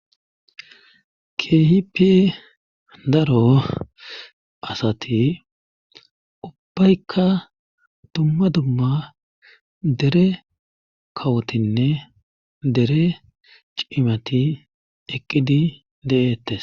kehipe daro assati durre cimatine daro asati eqidi deyetes